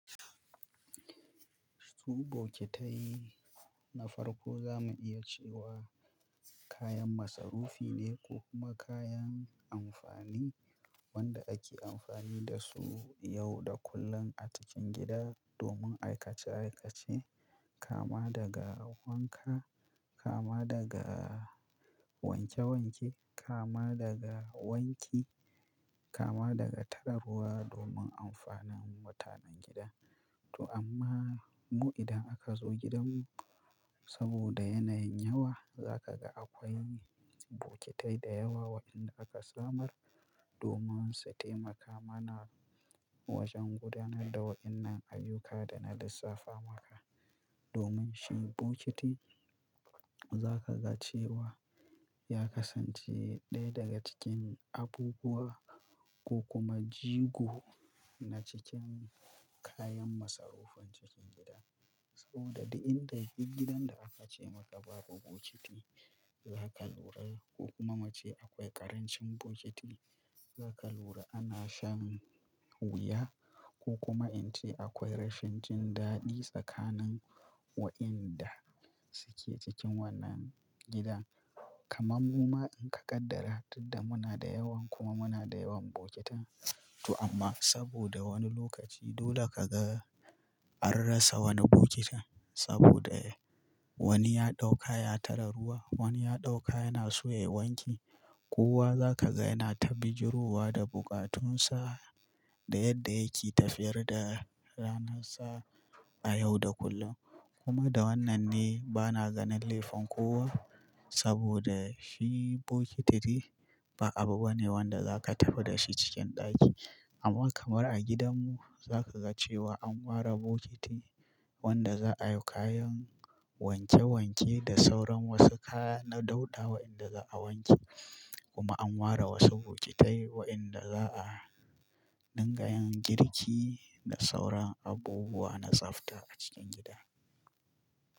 Su bokitai na farko za mu iya cewa kayan masarufi ne ko kuma kayan amfani wanda ake amfani da su yau da kullum a cikin gida domin aikace aikace, kama daga wanka, kama daga wanke wanke, kama daga wanki, kama daga tare ruwa domin amfanin mutanen gida. To amma mu idan aka zo gidanmu saboda yanayin yawa, za ka ga akwai bokitai da yawa wa'inda aka samar domin su taimaka mana wajen gudanar da wa'innan ayyuka da na lissafa maka. Domin shi bokiti za ka ga cewa ya kasance ɗaya daga cikin abubuwa ko kuma jigo na cikin kayan masarufin cikin gida. Saboda duk inda duk gidan da aka ce maka babu bokiti, za ka lura ko kuma muce akwai ƙarancin bokiti, za ka lura ana shan wuya ko kuma in ce akwai rashin jin daɗi tsakanin wa'inda suke cikin wannan gidan. Kaman mu ma in ka kaddara tun da muna da yawan kuma muna da yawan bokitan. To anma saboda wani lokaci dole kaga an rasa wani bokitin saboda wani ya ɗauka ya tare ruwa wani ya ɗauka yana so yayi wanki. Kowa za ka ga yana ta bijirowa da bukatunsa da yadda yake tafiyar da ranarsa a yau da kullum. Kuma da wannan ne ba na ganin laifin kowa saboda shi bokiti ne, ba abu bane wanda za ka tafi da shi cikin ɗaki. Amma kamar a gidanmu za ka ga cewa an ware bokiti wanda za a yi kayan wanke wanke da sauran wasu kaya na dauɗa wa'inda za a wanke. Kuma an ware wasu bokitai wa inda za'a dinga yin girki da sauran abubuwa na tsafta a cikin gida.